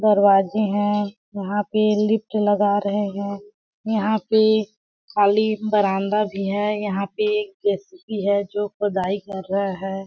दरवाज़ें है यहाँ पे लिफ्ट लगा रहे है यहाँ पे खाली बरान्दा भी है यहाँ पे जे.सी.बी. है जो खुदाई कर रहा हैं ।